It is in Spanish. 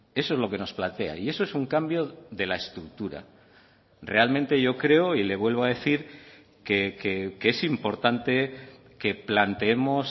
eso es lo que nos plantea y eso es un cambio de la estructura realmente yo creo y le vuelvo a decir que es importante que planteemos